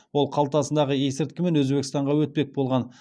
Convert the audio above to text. ол қалтасындағы есірткімен өзбекстанға өтпек болған